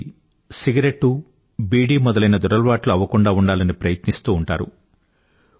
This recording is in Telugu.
పిల్లలకి సిగరెట్టు బీడీ మొదలైన దురలవాట్లకు గురవ్వకుండా ఉండాలని ప్రయత్నిస్తూ ఉంటారు